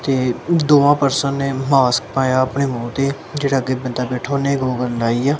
ਤੇ ਦੋਵਾਂ ਪਰਸਨ ਨੇ ਮਾਸਕ ਪਾਇਆ ਆਪਣੇ ਮੂੰਹ ਤੇ ਜਿਹੜਾ ਅੱਗੇ ਬੰਦਾ ਬੈਠਾ ਉਹਨੇ ਗੋਗਲ ਲਾਈ ਆ। ਤੇ